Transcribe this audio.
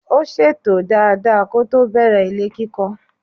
Ó ṣètò dada kótó bẹ̀rẹ̀ ilé kíkọ́.